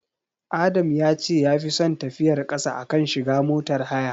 Adam ya ce yafi son tafiyar ƙasa a kan shiga motar haya.